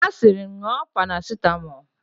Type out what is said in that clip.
Ha sịrị, ṅụọ parasitamọlụ!